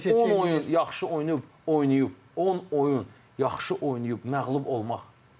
Yaxşı, 10 oyun yaxşı oynayıb, oynayıb, 10 oyun yaxşı oynayıb məğlub olmaq.